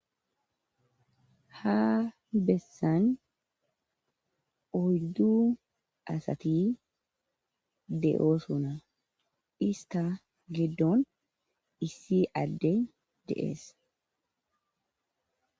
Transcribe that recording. Ha bessan oydu asati de7osona ista gidon iisi adey de7es.